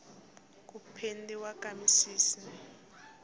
ku pendiwa ka misisi